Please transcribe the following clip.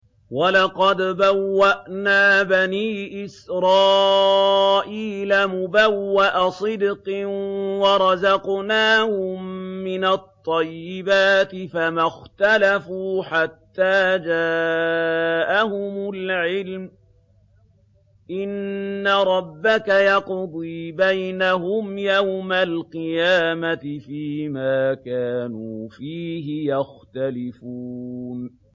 وَلَقَدْ بَوَّأْنَا بَنِي إِسْرَائِيلَ مُبَوَّأَ صِدْقٍ وَرَزَقْنَاهُم مِّنَ الطَّيِّبَاتِ فَمَا اخْتَلَفُوا حَتَّىٰ جَاءَهُمُ الْعِلْمُ ۚ إِنَّ رَبَّكَ يَقْضِي بَيْنَهُمْ يَوْمَ الْقِيَامَةِ فِيمَا كَانُوا فِيهِ يَخْتَلِفُونَ